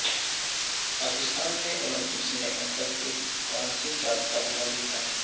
پاکستان نے اولمپکس میں اب تک ایک کانسی کا تمغہ جیتا ہے